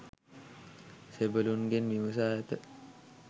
සෙබළුන්ගෙන් විමසා ඇත.